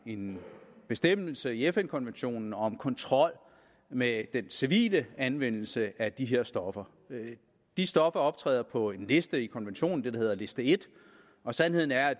en bestemmelse i fn konventionen om kontrol med den civile anvendelse af de her stoffer de stoffer optræder på en liste i konventionen det der hedder liste en og sandheden er at